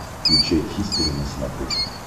включай хистори на смотрешке